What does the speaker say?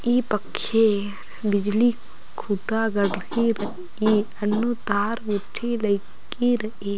ई पक्खे बिजली खुटा गढरकी रइई अन्नू तार गुट्टी लईकी रइई।